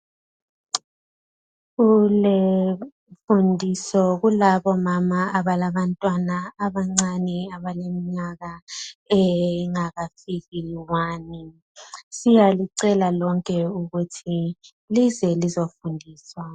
Kule mfundiso kulabomama abalabantwana abancane abaleminyaka engakafiki I 1 , siyalicela lonke ukuthi lize lizofundiswa